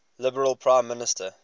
liberal prime minister